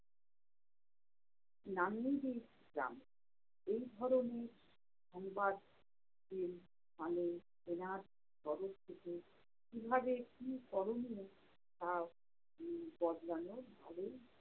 নামলেই যেই গ্রাম। এই ধরনের সংবাদ কীভাবে কী করণীয় তা উম বদলানোর ভালোই